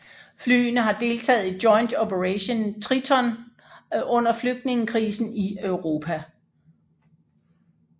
Flyene har deltaget i Joint Operation Triton under flygtningekrisen i Europa